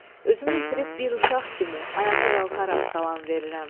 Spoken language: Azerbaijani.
Özümü itirib bir uşaq kimi ayağa qalxaraq salam verirəm.